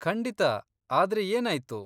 ಖಂಡಿತಾ, ಆದ್ರೆ ಏನಾಯ್ತು?